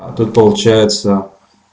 а тут получается